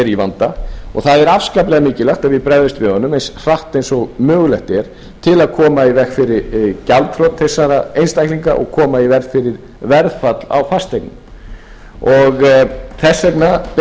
í vanda og það er afskaplega mikilvægt að við bregðumst við honum eins hratt og mögulegt er til að koma í veg fyrir gjaldþrot þessara einstaklinga og koma í veg fyrir verðfall á fasteignum þess vegna beini ég fyrirspurn til hæstvirtur